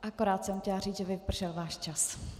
Akorát jsem chtěla říct, že vypršel váš čas.